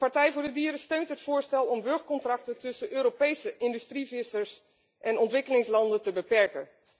De Partij voor de Dieren steunt het voorstel om charterovereenkomsten tussen Europese industrievissers en ontwikkelingslanden te beperken.